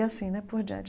E assim, né, por diante.